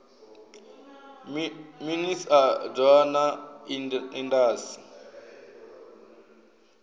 minis a doa na indas